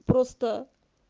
просто